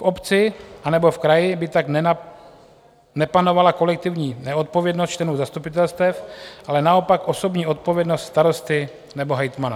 V obci anebo v kraji by tak nepanovala kolektivní neodpovědnost členů zastupitelstev, ale naopak osobní odpovědnost starosty nebo hejtmana.